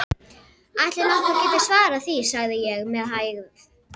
Ætli nokkur geti svarað því, sagði ég með hægð.